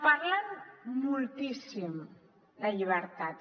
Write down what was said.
parlen moltíssim de llibertats